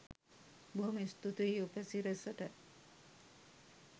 බොහොම ස්තුතියි උපසිරැසට